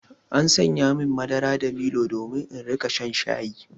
An saya min madara da milo domin in riƙa shan shayi.